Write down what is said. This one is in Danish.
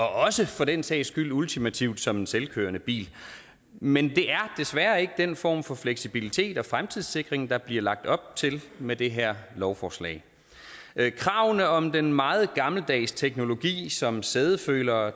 også for den sags skyld ultimativt som en selvkørende bil men det er desværre ikke den form for fleksibilitet og fremtidssikring der bliver lagt op til med det her lovforslag kravene om den meget gammeldags teknologi som sædefølere